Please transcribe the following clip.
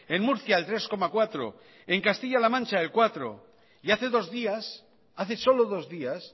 en murcia el tres coma cuatro en castilla la mancha el cuatro y hace dos días hace solo dos días